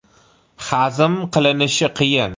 Hazm qilinishi qiyin.